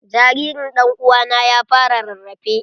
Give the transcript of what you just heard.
Jaririn dan'uwa na ya fara rarrafe.